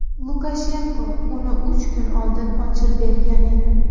Lukashenko uni uch kun oldin ochib bergan edi.